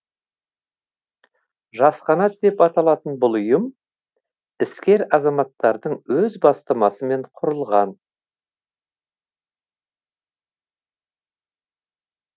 жас қанат деп аталатын бұл ұйым іскер азаматтардың өз бастамасымен құрылған